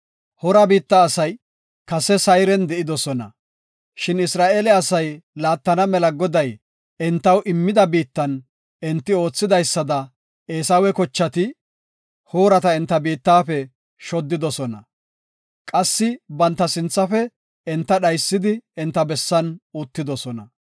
Hoora biitta asay kase Sayren de7idosona, shin Isra7eele asay laattana mela Goday entaw immida biittan enti oothidaysada Eesawa kochati Hoorata enta biittafe shoddidosona. Qassi banta sinthafe enta dhaysidi enta bessan uttidosona.)